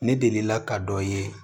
Ne delila ka dɔ ye